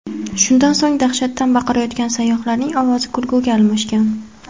Shundan so‘ng dahshatdan baqirayotgan sayyohlarning ovozi kulguga almashgan.